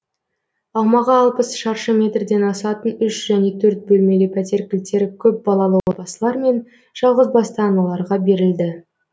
аумағы алпыс шаршы метрден асатын үш және төрт бөлмелі пәтер кілттері көпбалалы отбасылар мен жалғызбасты аналарға берілді